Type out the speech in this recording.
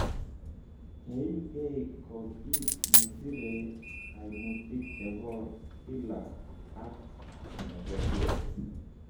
Keimkei ko kiit nesire kaimutik chebo kila ak nyogoryet